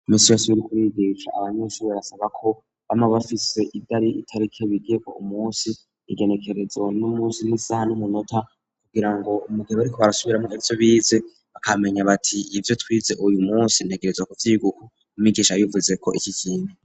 Minsi yose uriko urigisha abanyeshuri bisaba ko bama bafise itarike bigiyeko umunsi igenekerezo n'umunsi n'isaha n'umunota kugira ngo mugihe bariko barasubiramwo ivyo bize bakamenya bati ibyo twize uyu munsi ntegerezwa kuvyiga uku umwigisha yabivuzeko iki kintu.